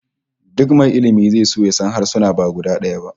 Duk mai ilmi zai so ya san harsuna ba guda daya ba